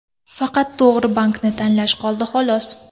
Faqat to‘g‘ri bankni tanlash qoldi, xolos.